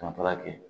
Ka taga kɛ